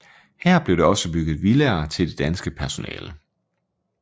Her blev der også bygget villaer til det danske personale